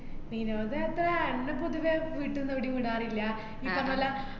വിനോദയാത്ര എന്ന പൊതുവേ വീട്ടീന്ന് ഏടെയും വിടാറില്ല ഈ പറഞ്ഞപോലെ